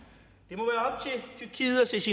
synes